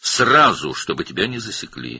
Dərhal, səni tutmasınlar.